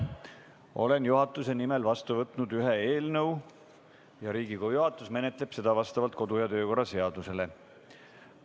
Olen juhatuse nimel vastu võtnud ühe eelnõu ja Riigikogu juhatus menetleb seda vastavalt kodu- ja töökorra seadusele.